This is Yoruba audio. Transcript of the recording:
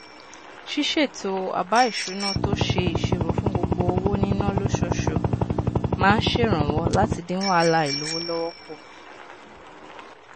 ṣíṣètò àbá ìṣúná tó ṣe ìṣirò fún gbogbo owó níná lóṣooṣù máa n ṣèrànwọ láti dín wàhálà àìlówó lọwọ kù